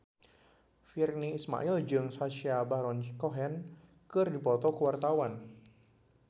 Virnie Ismail jeung Sacha Baron Cohen keur dipoto ku wartawan